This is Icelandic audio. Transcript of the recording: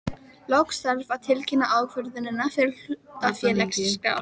Loks þarf að tilkynna ákvörðunina til hlutafélagaskrár.